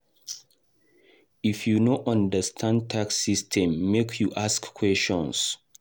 If you no understand tax system, make you ask questions.